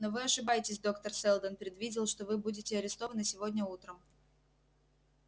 но вы ошибаетесь доктор сэлдон предвидел что вы будете арестованы сегодня утром